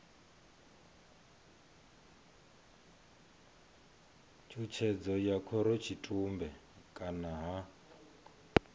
tshutshedzo ya khorotshitumbe kana ha